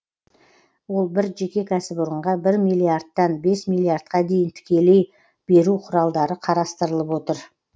ол бір жеке кәсіпорынға бір миллиардтан бес миллиардқа дейін тікелей беру құралдары қарастырылып отыр